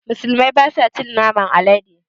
Musulmai basa cin naman alade